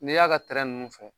Ni y'a ka nunnu fɔ